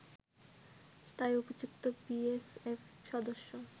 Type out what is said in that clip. তাই অভিযুক্ত বিএসএফ সদস্য